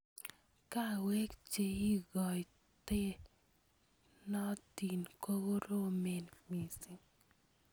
Kawek cheikotenotin kokoromen missing.